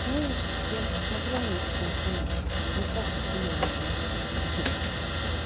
знаешь я вот посмотрела на их отношения не просто хулио ни она